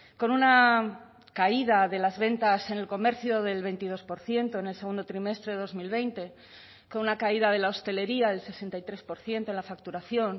con una caída de las ventas en el comercio del veintidós por ciento en el segundo trimestre de dos mil veinte con una caída de la hostelería del sesenta y tres por ciento en la facturación